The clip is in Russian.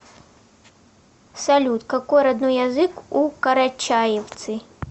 салют какой родной язык у карачаевцы